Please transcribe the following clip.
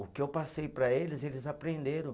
O que eu passei para eles, eles aprenderam.